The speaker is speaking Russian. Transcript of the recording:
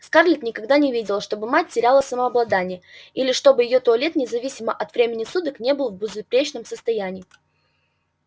скарлетт никогда не видела чтобы мать теряла самообладание или чтобы её туалет независимо от времени суток не был в безупречном состоянии